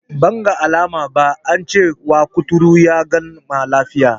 Banga alama ba, ance wa kuturu ya gama lafiya.